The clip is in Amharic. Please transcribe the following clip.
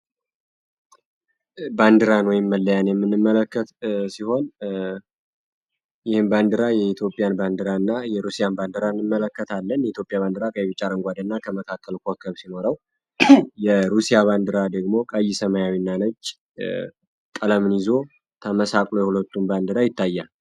ባንዲራን ወይም መለያን የምንመለከት ሲሆን ይህን ባንዲራ የኢትዮጵያን ባንዲራና የሩሲያን ባንዲራ እንመለከታለን የኢትዮጵያ ባንዲራ ቀይ ቢጫ አረንጓዴ እና ከመካከል ኮከብ ሲኖረው የሩሲያ ባንዲራ ደግሞ ቀይ ሰማያዊና ነጭ ተመሳቅ ነው በአንድ ላይ ይታያሉ።